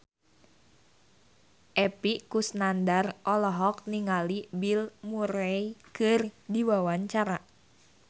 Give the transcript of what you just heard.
Epy Kusnandar olohok ningali Bill Murray keur diwawancara